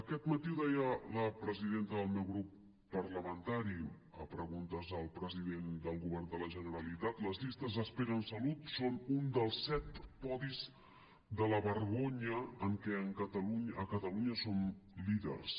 aquest matí ho deia la presidenta del meu grup parlamentari a preguntes al president del govern de la generalitat les llistes d’espera en salut són un dels set podis de la vergonya en què a catalunya som líders